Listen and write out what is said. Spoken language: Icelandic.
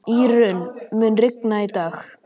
Írunn, mun rigna í dag?